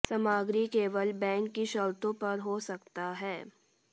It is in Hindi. सामग्री केवल बैंक की शर्तों पर हो सकता है